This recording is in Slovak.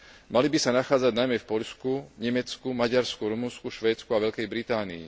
Mali by sa nachádzať najmä v Poľsku, Nemecku, Maďarsku, Rumunsku, vo Švédsku a vo Veľkej Británii.